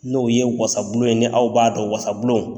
N'o ye wasabulon ye ni aw b'a dɔn wasablon.